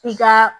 F'i ka